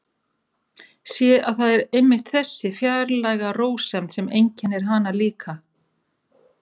Sé að það er einmitt þessi fjarlæga rósemd sem einkennir hana líka.